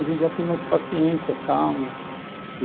A gente já tem mais paciência, calma.